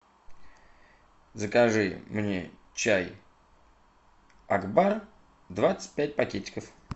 закажи мне чай акбар двадцать пять пакетиков